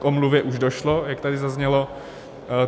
K omluvě už došlo, jak tady zaznělo.